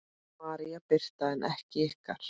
María Birta en ykkar?